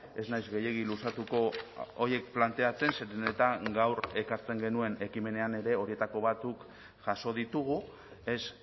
ez naiz gehiegi luzatuko horiek planteatzen zeren eta gaur ekartzen genuen ekimenean ere horietako batzuk jaso ditugu ez